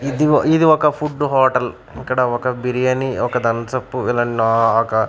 ఇదిగో ఇది ఒక ఫుడ్డు హోటల్ ఇక్కడ ఒక బిర్యానీ ఒక ధంసప్ ఇలా లాగా--